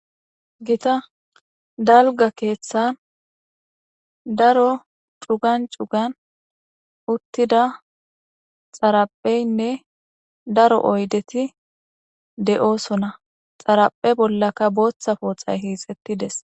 Gita dalga kethan daro cugan utida xarapehyine daro oydeti de'osona, xaraphe bollaka bootha poxay hiixetides.